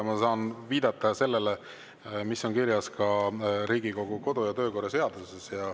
Ma saan viidata sellele, mis on kirjas Riigikogu kodu- ja töökorra seaduses.